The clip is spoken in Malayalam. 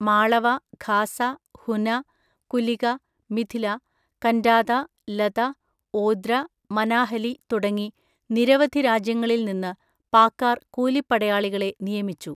മാളവ, ഖാസ, ഹുന, കുലിക, മിഥില, കന്റാത, ലത, ഓദ്ര, മനാഹലി തുടങ്ങി നിരവധി രാജ്യങ്ങളിൽ നിന്ന് പാക്കാർ കൂലിപ്പടയാളികളെ നിയമിച്ചു.